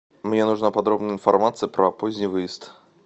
мне нужна подробная информация про поздний выезд